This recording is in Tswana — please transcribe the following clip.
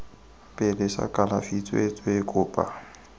pele sa kalafi tsweetswee kopa